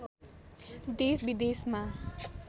देश विदेशमा